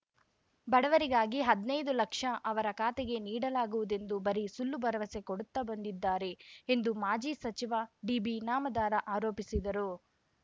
ಬಡವರಿಗಾಗಿ ಹದ್ನೈದು ಲಕ್ಷ ಅವರ ಖಾತೆಗೆ ನೀಡಲಾಗುವುದೆಂದು ಬರಿ ಸುಳ್ಳು ಭರವಸೆ ಕೊಡುತ್ತಾ ಬಂದಿದ್ದಾರೆ ಎಂದು ಮಾಜಿ ಸಚಿವ ಡಿಬಿ ಇನಾಮದಾರ ಆರೋಪಿಸಿದರು